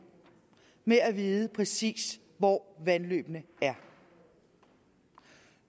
med at vide præcis hvor vandløbene er